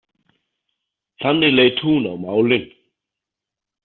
Þannig leit hún á málin.